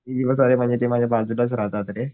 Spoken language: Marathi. ते माझ्या बाजूलाच राहतात रे